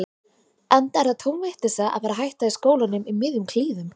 Enda er það tóm vitleysa að fara að hætta í skólanum í miðjum klíðum.